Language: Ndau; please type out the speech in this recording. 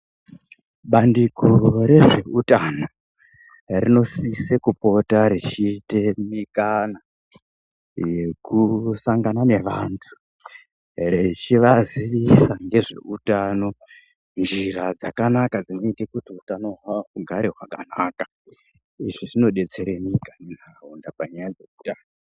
Bandiko rezveutano rinosise kupota rechiite mikana yekusangana nevantu rechivaziisa nezveutano, njira dzakanaka dzinoite kuti utano hwavohugare hwakanaka. Izvi zvinodetsere nyika nentaraunda panyaya dzeutano.